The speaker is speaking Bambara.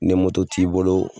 Ni t'i bolo